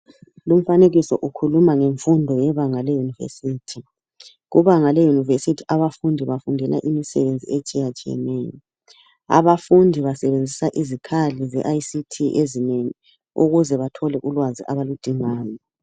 Lumfanekiso ukhuluma ngemfundo yebanga leYunivesithi, kubanga leYunivesithi abafundi bafundela imisebenzi etshiyatshiyeneyo. Abafundi basebenzisa izikhali zeI.C.T ezinengi ukuze bathole ulwazi abaludingayo.